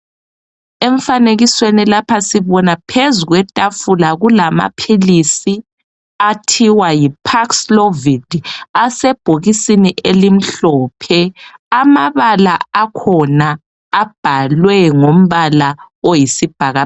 Emfanikesweni lapha sibona phezu kwetafula kulamaphilisi athiwa yipaxlovid, asebhokisini elimhlophe. Amabala akhona abhalwe ngombala oyisibhakabhaka.